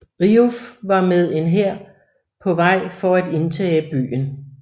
Riouf var med en hær var på vej for at indtage byen